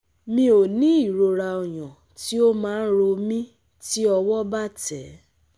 mi ò ní ìrora oyan tí ó máa ń ro mí ti owo ba te